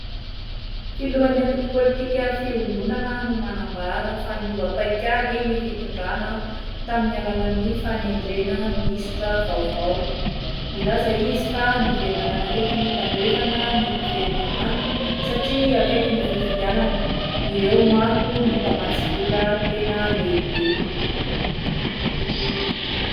Filohan'ny antoko politika fihombonana no manambara fa niovam-paikady ny fitondrana tamin'ny alalan'ny fanendrena minisitra vaovao milaza izy fa niverina manakaiky ny tandrevana ny governemanta satria akaiky ny fifidianana ireo manko no mpamatsy vola tena lehibe.